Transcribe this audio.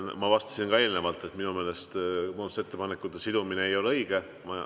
Ma vastasin ka eelnevalt, et minu meelest muudatusettepanekute sidumine ei ole õige.